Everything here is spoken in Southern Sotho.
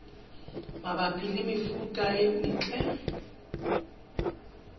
mabapi le mefuta e metle